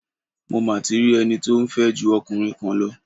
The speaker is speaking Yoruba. Mo ma ti rí ẹni tí ó ń fẹ́ ju ọkùnrin kan lọ.